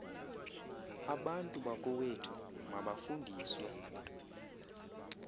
abantu bakowethu mabafundiswe